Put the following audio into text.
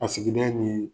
A sigida ni